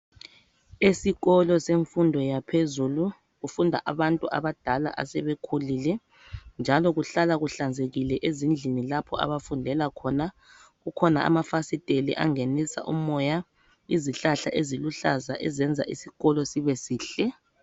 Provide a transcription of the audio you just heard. Esikolo semfundo yaphezulu kufunda abadala asebekhulile njalo ukuhlala kuhlanzekile ezindlini lapho abafundela khona, kukhona amafasitele angenisa umoya izihlahla eziluhlaza ezenza isikolo sibe sihle.